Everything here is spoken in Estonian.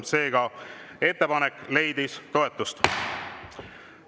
Seega, ettepanek leidis toetust.